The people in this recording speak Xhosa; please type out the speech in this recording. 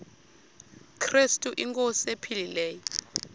krestu inkosi ephilileyo